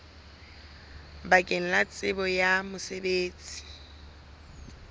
bakeng la tsebo ya mosebetsi